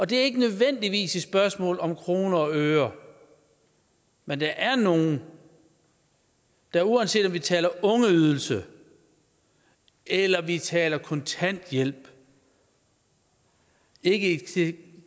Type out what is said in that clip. det er ikke nødvendigvis et spørgsmål om kroner og øre men der er nogle der uanset om vi taler ungeydelse eller vi taler kontanthjælp ikke i